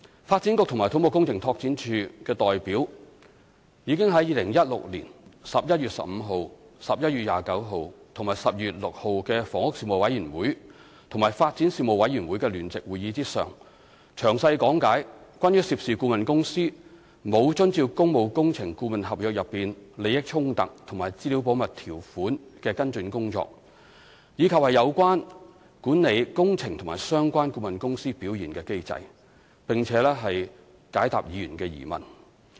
發展局及土木工程拓展署的代表已於2016年11月15日、11月29日及12月6日的房屋事務委員會與發展事務委員會的聯席會議上，詳細講解關於涉事顧問公司沒有遵照工務工程顧問合約內利益衝突和資料保密條款的跟進工作，以及有關管理工程及相關顧問公司表現的機制，並解答議員的疑問。